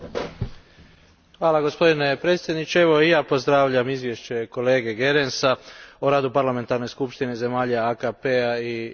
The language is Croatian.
Gospodine predsjedniče, evo i ja pozdravljam izvješće kolege Goerensa o radu Parlamentarne skupštine zemalja AKP a i Europske unije.